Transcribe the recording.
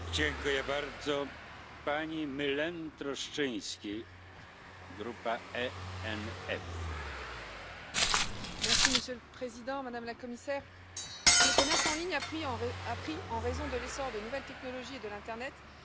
Monsieur le Président, Madame la Commissaire, le commerce en ligne a pris, en raison de l'essor des nouvelles technologies et de l'internet, des proportions considérables et devient un vecteur essentiel de développement pour les entreprises, en particulier les PME, et un gage d'opportunités nouvelles pour les consommateurs.